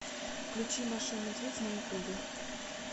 включи маша и медведь на ютубе